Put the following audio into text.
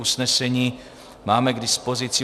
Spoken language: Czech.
Usnesení máme k dispozici.